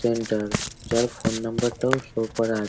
centre যার phone number টাও show করা আছ--